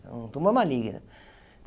É um tumor maligno.